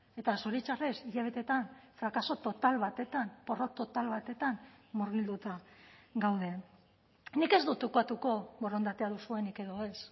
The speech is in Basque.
eta zoritxarrez hilabetetan frakaso total batetan porrot total batetan murgilduta gaude nik ez dut ukatuko borondatea duzuenik edo ez